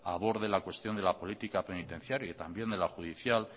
aborde la cuestión de la política penitenciaria y también de la judicial